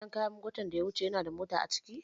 Jigilar kayan watan da ya wuce yanada mota a ciki?